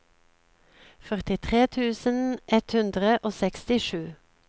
førtitre tusen ett hundre og sekstisju